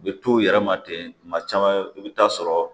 U bɛ to u yɛrɛ ma ten tuma caman i bɛ taa sɔrɔ